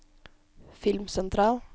filmsentral